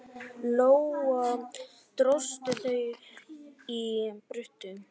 Lóa: Dróstu þau í burtu?